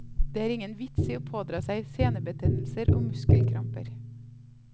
Det er ingen vits i å pådra seg senebetennelser og muskelkramper.